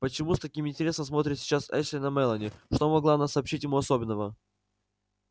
почему с таким интересом смотрит сейчас эшли на мелани что могла она сообщить ему особенного